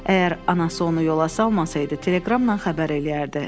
Əgər anası onu yola salmasaydı, teleqramla xəbər eləyərdi.